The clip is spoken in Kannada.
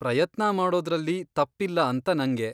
ಪ್ರಯತ್ನ ಮಾಡೋದ್ರಲ್ಲಿ ತಪ್ಪಿಲ್ಲ ಅಂತ ನಂಗೆ.